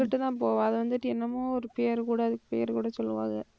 அங்கிட்டுதான் போவா அது வந்துட்டு என்னமோ ஒரு பேரு கூட அது பேரு கூட சொல்லுவாக